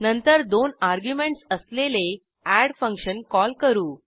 नंतर दोन अर्ग्युमेंटस असलेले एड फंक्शन कॉल करू